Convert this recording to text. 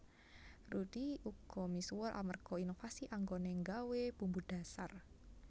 Rudy uga misuwur amerga inovasi anggoné nggawé bumbu dhasar